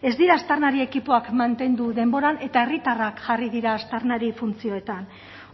ez dira aztarnari ekipoak mantendu denboran eta herritarrak jarri dira aztarnari funtzioetan